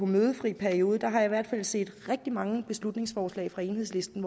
mødefri periode har jeg i hvert fald set rigtig mange beslutningsforslag fra enhedslisten